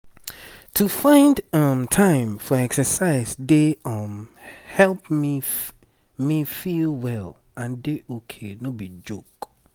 to find time for exercise dey um help me me feel well and dey ok no be joke.